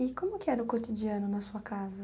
E como que era o cotidiano na sua casa?